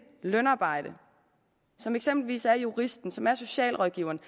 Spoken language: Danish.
lønarbejde som eksempelvis juristens eller socialrådgiverens